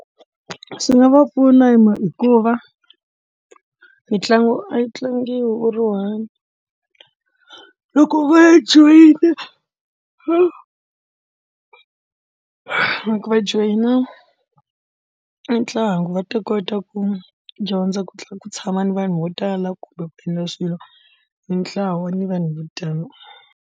Swi nga va pfuna hikuva mitlangu a yi tlangiwi u ri one loko va joyina loko va joyina ntlangu va ta kota ku dyondza ku tlula ku tshama ni vanhu vo tala kumbe ku endla swilo hi ntlawa ni vanhu vo tani.